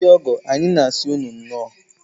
Ndị ọgọ, anyị na-asị unu nnọọ.